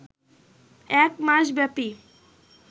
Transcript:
এক মাসব্যাপী